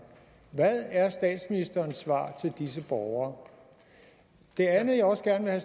hvad er statsministerens svar til disse borgere det andet jeg også gerne